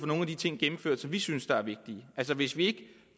nogle af de ting som vi synes er vigtige altså hvis vi ikke